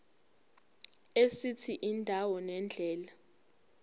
esithi indawo nendlela